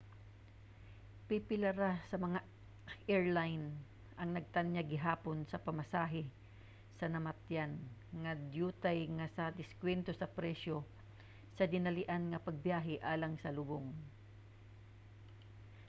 pipila ra ka mga airline ang nagtanyag gihapon sa pamasahe sa namatyan nga dyutay nga nag-diskwento sa presyo sa dinalian nga pagbiyahe alang sa lubong